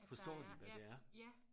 At der er ja ja